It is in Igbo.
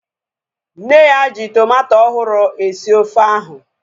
Nne ya ji tomato ọhụrụ esi ofe ahu